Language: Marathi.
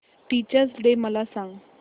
टीचर्स डे मला सांग